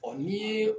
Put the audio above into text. Ɔ ni ye